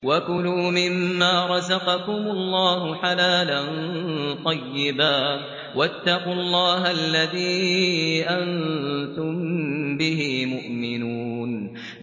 وَكُلُوا مِمَّا رَزَقَكُمُ اللَّهُ حَلَالًا طَيِّبًا ۚ وَاتَّقُوا اللَّهَ الَّذِي أَنتُم بِهِ مُؤْمِنُونَ